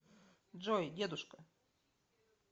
джой дедушка